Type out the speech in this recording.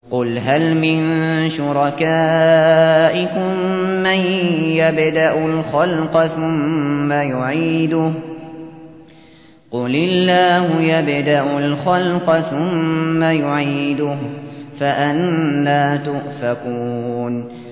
قُلْ هَلْ مِن شُرَكَائِكُم مَّن يَبْدَأُ الْخَلْقَ ثُمَّ يُعِيدُهُ ۚ قُلِ اللَّهُ يَبْدَأُ الْخَلْقَ ثُمَّ يُعِيدُهُ ۖ فَأَنَّىٰ تُؤْفَكُونَ